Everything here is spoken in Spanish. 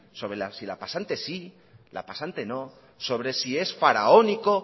sobre si la pasante sí la pasante no sobre si es faraónico